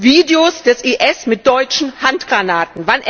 Videos des IS mit deutschen Handgranaten.